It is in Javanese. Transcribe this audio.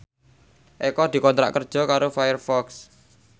Eko dikontrak kerja karo Firefox